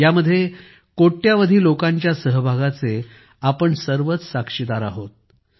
यामध्ये करोडो लोकांच्या सहभागाचे आपण सर्वच साक्षीदार आहोत